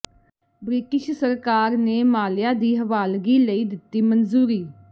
British ਸਰਕਾਰ ਨੇ ਮਾਲਿਆ ਦੀ ਹਵਾਲਗੀ ਲਈ ਦਿੱਤੀ ਮਨਜ਼ੂਰੀ